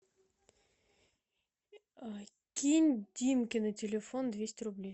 кинь димке на телефон двести рублей